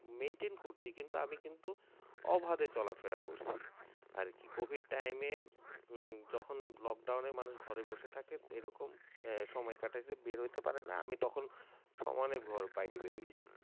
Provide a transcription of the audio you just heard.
Maintain করছি কিন্তু আমি কিন্তু অভাবে চলাফেরা করছি আরকি, covid time এ উম যখন lockdown এ মানুষ ঘরে বসে থাকে তো এরকম এই সময় কাটাতে বের হইতে পারে না আমি তখন সমানে ঘর বাইরে বের হয়েছি